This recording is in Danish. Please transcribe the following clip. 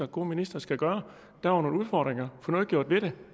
god minister skal gøre der var nogle udfordringer få noget gjort ved det